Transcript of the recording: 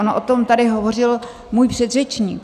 On o tom tady hovořil můj předřečník.